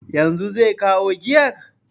Yanzu zai kawo giyar?